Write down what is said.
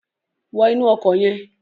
Wọ inú ọkọ̀ yẹn.